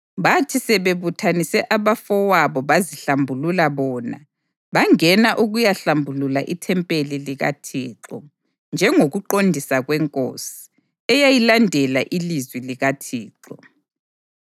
Bathi sebebuthanise abafowabo bazihlambulula bona, bangena ukuyahlambulula ithempeli likaThixo, njengokuqondisa kwenkosi, eyayilandela ilizwi likaThixo.